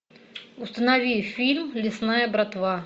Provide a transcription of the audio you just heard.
установи фильм лесная братва